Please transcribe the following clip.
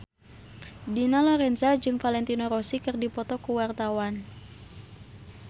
Dina Lorenza jeung Valentino Rossi keur dipoto ku wartawan